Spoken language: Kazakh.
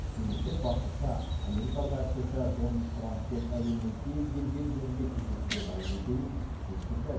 мемлекет басшысы америкалық әріптесі дональд трамппен әлемнің кез келген жерінде кездесуге дайын екенін жеткізді